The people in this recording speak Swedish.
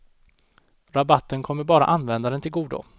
Rabatten kommer bara användaren till godo.